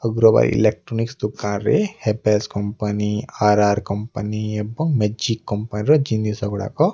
Agarwal electronics ଦୋକାରରେ Havells company R R company ଏବଂ A G company ର ଜିନିଷ ଗୁଡାକ --